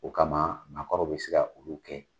O kama maakɔrɔw be se ka olu kɛ.